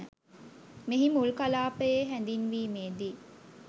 මෙහි මුල් කලාපයේ හැඳින්වීමේ දී